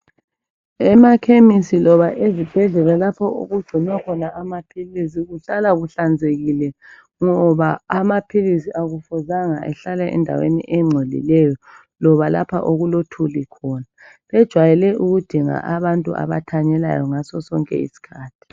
Emaphamacy loba ezibhedlela lapho okungcinwa khona amapills kuhlala kuhlanzekile ngoba amapills kakumelanga ehlale endaweni engcolileyo loba lapho okulothuli khona bejwayele ukuthi dinga abantu abathanyelayo sonke isikhathi